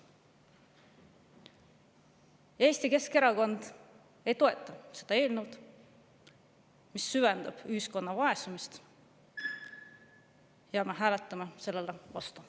Eesti Keskerakond ei toeta seda eelnõu, mis süvendab ühiskonna vaesumist, ja me hääletame selle vastu.